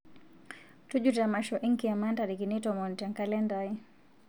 tujuto emasho enkiyama ntarikini tomon te nkalenda aai